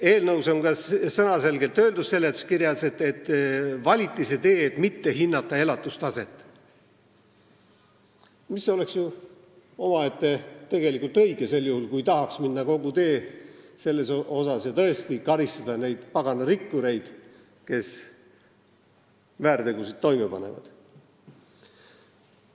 Eelnõu seletuskirjas on sõnaselgelt öeldud, et valiti see tee, et ei hinnata elatustaset, kuigi see oleks ju õige, kui tahetakse minna selle tee lõpuni ja tõesti karistada neid pagana rikkureid, kes väärtegusid toime panevad.